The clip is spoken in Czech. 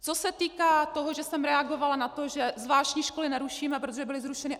Co se týká toho, že jsem reagovala na to, že zvláštní školy nerušíme, protože byly zrušeny.